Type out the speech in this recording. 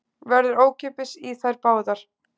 Verður ókeypis í þær báðar